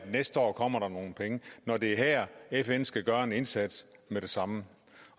næste år kommer nogle penge når det er her fn skal gøre en indsats med det samme